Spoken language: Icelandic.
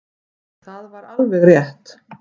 Og það var alveg rétt.